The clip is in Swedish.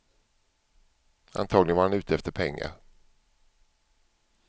Antagligen var han ute efter pengar.